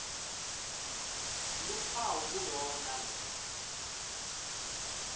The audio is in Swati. luphawu kulowo nalowo